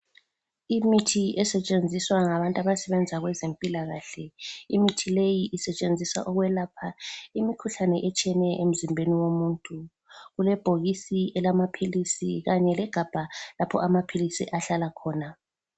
Imithi esetshenziswa ngabantu abasebenza kwezempilakahle. Imithi leyi isetshenziswa ukwelapha imikhuhlane etshiyeneyo emzimbeni womuntu. Kulebhokisi elamaphilisi kanye legabha lapho amaphilisi ahlala khona.